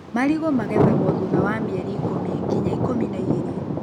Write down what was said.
Marigũ magethagwo thutha wa mĩeri ikũmi nginya ikũmi na igĩri.